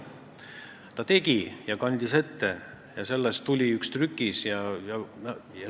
Ta tegi seda, kandis tulemused ette ja sellest tuli üks trükis.